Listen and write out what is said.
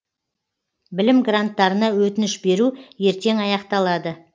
білім гранттарына өтініш беру ертең аяқталады